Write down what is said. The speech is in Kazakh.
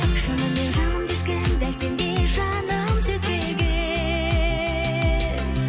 шынымен жанымды ешкім дәл сендей жаным сезбеген